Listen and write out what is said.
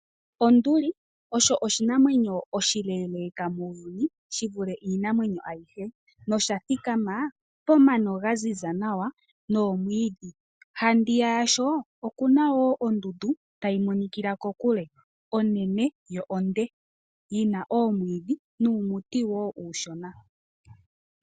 Onduli osho oshinamwenyo oshileeleka muuyuni shi vule iinamwenyo ayihe, nosha thikama pomano ga ziza nawa noomwiidhi. Handiya yasho okuna wo ondundu tayi monikila kokule, onene yo onde yina oomwiidhi nuumuti wo uushona.